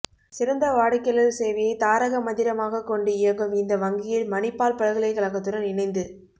சிறந்த வாடிக்கையாளர் சேவையைத் தாரக மந்திரமாகக் கொண்டு இயங்கும் இந்த வங்கியில் மணிப்பால் பல்கலைக் கழகத்துடன் இணைந்து